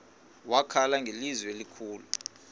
wakhala ngelizwi elikhulu